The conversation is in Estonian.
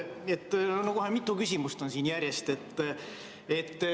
Kohe mitu küsimust on siin järjest.